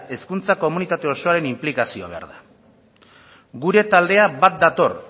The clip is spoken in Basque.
hezkuntza komunitate osoaren inplikazioa behar da gure talde bat dator